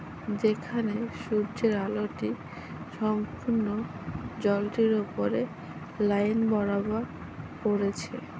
যেখানে সূর্যের আলোটি সম্পূর্ণ জলটির উপরে লাইন বরাবর পড়েছে।